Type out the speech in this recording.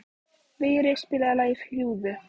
Vigri, spilaðu lagið „Fljúgðu“.